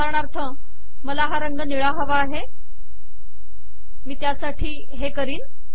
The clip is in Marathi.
उदाहरणार्थ मला हा रंग निळा हवा आहे मी त्यासाठी हे करीन